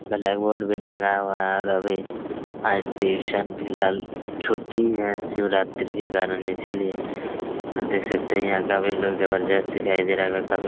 blackboard भी टंगा हुआ है और अभी आज ट्यूशन फ़िलहाल छुट्टी है शिवरात्रि के कारण इसीलिए देख सकते है यहाँ काफी लोग जबरदस्त दिखाई दे रहे काफी--